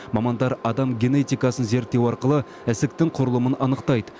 мамандар адам генетикасын зерттеу арқылы ісіктің құрылымын анықтайды